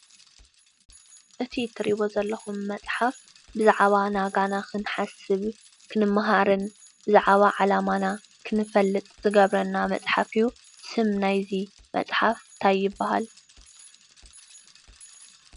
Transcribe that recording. እቲ ትሪእይዎ ዘለኹም መፅሓፍ ብዛዕባ ናጋና ክንሓስብ ክንማሃርን ብዛዕባ ዓላማና ክንፈልጥ ዝገብረና መፅሓፍ እዩ፡፡ ስም ናይዚ መፅሓፍ እንታይ ይባሃል?